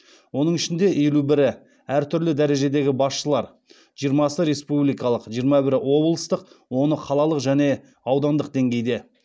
оның ішінде елу бірі әртүрлі дәрежедегі басшылар